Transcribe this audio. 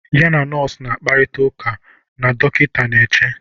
ya na nọọsụ na-akparịta ụka na dọkịta na-eche